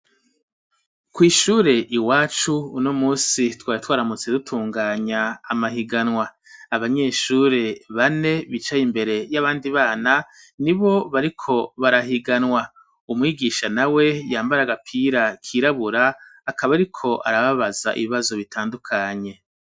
Kw'ishure iwacu uno munsi twari twaramutse dutunganya amahiganwa abanyeshure bane bicaye imbere y'abandi bana nibo bariko barahiganwa umwigisha nawe yambara agapira kirabura akaba ariko arababaza ibibazo bitandukanye.